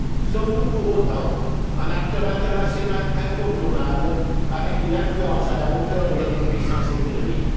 Sommes nous pour autant un acteur international incontournable avec une influence à la hauteur de notre puissance économique?